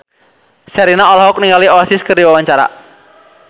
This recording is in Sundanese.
Sherina olohok ningali Oasis keur diwawancara